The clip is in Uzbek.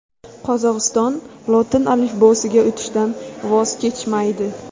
Qozog‘iston lotin alifbosiga o‘tishdan voz kechmaydi.